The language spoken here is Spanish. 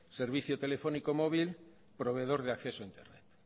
servicio telefónico móvil proveedor de acceso a internet